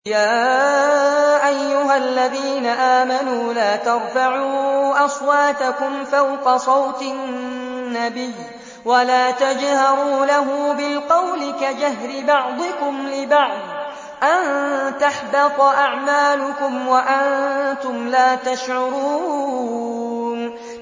يَا أَيُّهَا الَّذِينَ آمَنُوا لَا تَرْفَعُوا أَصْوَاتَكُمْ فَوْقَ صَوْتِ النَّبِيِّ وَلَا تَجْهَرُوا لَهُ بِالْقَوْلِ كَجَهْرِ بَعْضِكُمْ لِبَعْضٍ أَن تَحْبَطَ أَعْمَالُكُمْ وَأَنتُمْ لَا تَشْعُرُونَ